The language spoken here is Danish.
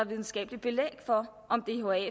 videnskabelige belæg for